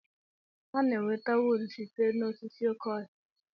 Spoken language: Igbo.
Ana-enweta wuud site n'osisi oké ọhịa.